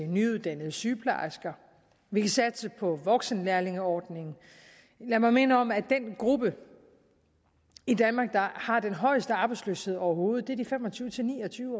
nyuddannede sygeplejersker vi kan satse på voksenlærlingeordningen lad mig minde om at den gruppe i danmark der har den højeste arbejdsløshed overhovedet er de fem og tyve til ni og tyve